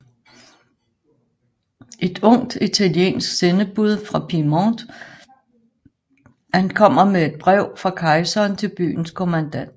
Et ungt italiensk sendebud fra Piemonte ankommer med et brev fra kejseren til byens kommandant